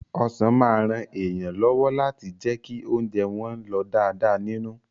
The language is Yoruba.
Ọsàn máa ran èèyàn lọ́wọ́ láti jẹ́ kí ounjẹ́ wọ́n lọ̀ dáadáa nínú.